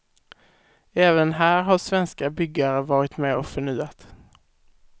Även här har svenska byggare varit med och förnyat.